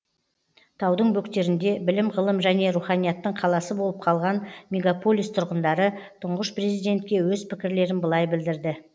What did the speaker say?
таудың бөктерінде білім ғылым және руханияттың қаласы болып қалған мегаполис тұрғындары тұңғыш президентке өз пікірлерін былай білдірді